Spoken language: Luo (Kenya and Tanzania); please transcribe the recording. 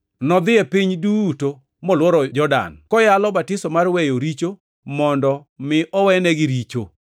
Nodhi e piny duto molworo Jordan, koyalo batiso mar weyo richo mondo mi owenegi richo.